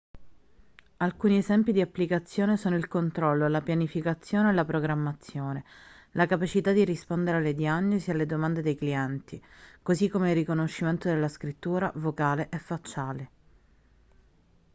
alcuni esempi di applicazione sono il controllo la pianificazione e la programmazione la capacità di rispondere alle diagnosi e alle domande dei clienti così come il riconoscimento della scrittura vocale e facciale